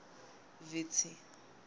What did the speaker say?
vitsi